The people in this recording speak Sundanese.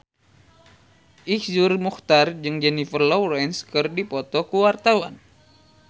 Iszur Muchtar jeung Jennifer Lawrence keur dipoto ku wartawan